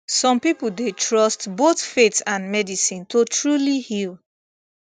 some people dey trust both faith and medicine to truly heal